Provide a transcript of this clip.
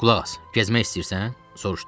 Qulaq as, gəzmək istəyirsən?